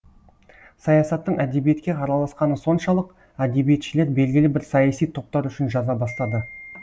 саясаттың әдебиетке араласқаны соншалық әдебиетшілер белгілі бір саяси топтар үшін жаза бастады